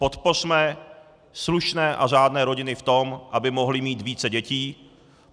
Podpořme slušné a řádné rodiny v tom, aby mohly mít více dětí.